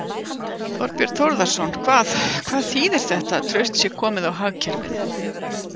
Þorbjörn Þórðarson: Hvað, hvað þýðir þetta, að traust sé komið á hagkerfið?